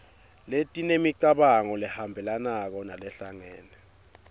letinemicabango lehambelanako nalehlangene